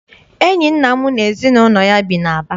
Enyi nna m na ezinụlọ ya bi n'Aba.